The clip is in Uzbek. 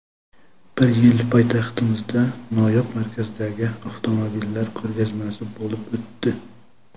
Bir yili poytaxtimizda noyob markadagi avtomobillar ko‘rgazmasi bo‘lib o‘tdi.